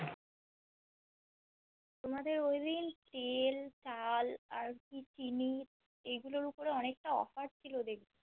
তোমাদের ঐদিন তেল চাল আর কি চিনি এই গুলো র উপর অনেক টা Offer ছিল দেখলাম